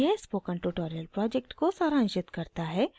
यह spoken tutorial project को सारांशित करता है